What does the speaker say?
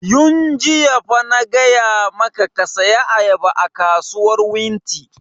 Yun jiya fa na gaya maka ka saya ayaba a kasuwar wunti!